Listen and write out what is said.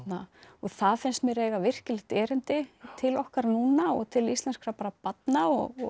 það finnst mér eiga virkilegt erindi til okkar núna og til íslenskra barna og